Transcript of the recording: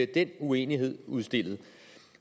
den uenighed udstillet